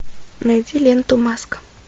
найди ленту маска